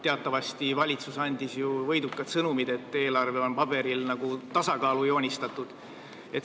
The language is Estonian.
Teatavasti on valitsus andnud võiduka sõnumi, et eelarve on paberil tasakaalu joonistatud.